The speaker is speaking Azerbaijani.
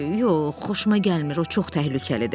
Yox, xoşuma gəlmir, o çox təhlükəlidir.